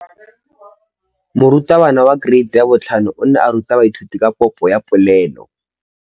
Moratabana wa kereiti ya 5 o ne a ruta baithuti ka popô ya polelô.